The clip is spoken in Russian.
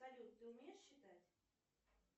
салют ты умеешь считать